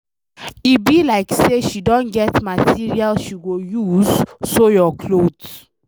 E be like say she don get material she go use sew your cloth.